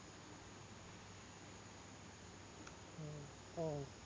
ഉം ആഹ്